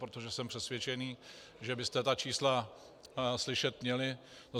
Protože jsem přesvědčen, že byste ta čísla slyšet měli.